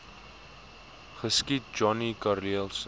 geskiet johnny karelse